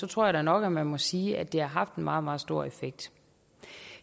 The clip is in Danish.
tror jeg da nok at man må sige at det har haft en meget meget stor effekt